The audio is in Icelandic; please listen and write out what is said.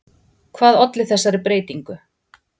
hvað olli þessari breytingu